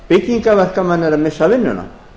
byggingarverkamenn eru að missa vinnuna